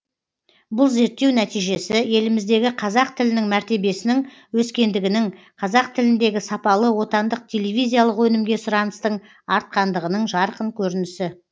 бұл зерттеу нәтижесі еліміздегі қазақ тілінің мәртебесінің өскендігінің қазақ тіліндегі сапалы отандық телевизиялық өнімге сұраныстың артқандығының жарқын көрінісі